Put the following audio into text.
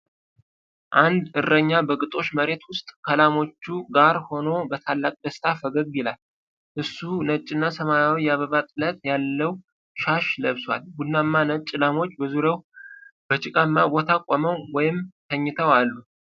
አንድ እረኛ በግጦሽ መሬት ውስጥ ከላሞቹ ጋር ሆኖ በታላቅ ደስታ ፈገግ ይላል። እሱ ነጭና ሰማያዊ የአበባ ጥለት ያለው ሻሽ ለብሷል። ቡናማና ነጭ ላሞች በዙሪያው በጭቃማ ቦታ ቆመው ወይም ተኝተው አሉ።